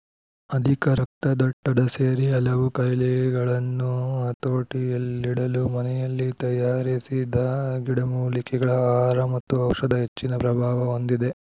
ಅಧಿಕ ರಕ್ತದೊತ್ತಡ ಸೇರಿ ಹಲವು ಖಾಯಿಲೆಗಳನ್ನು ಹತೋಟಿಯಲ್ಲಿಡಲು ಮನೆಯಲ್ಲಿ ತಯಾರಿಸಿದ ಗಿಡಮೂಲಿಕೆಗಳ ಆಹಾರ ಮತ್ತು ಔಷಧ ಹೆಚ್ಚಿನ ಪ್ರಭಾವ ಹೊಂದಿದೆ